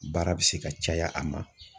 Baara bɛ se ka caya a ma.